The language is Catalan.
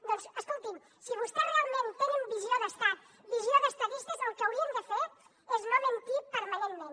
doncs escolti’m si vostès realment tenen visió d’estat visió d’estadistes el que haurien de fer és no mentir permanentment